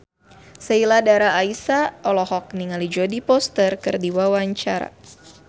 Sheila Dara Aisha olohok ningali Jodie Foster keur diwawancara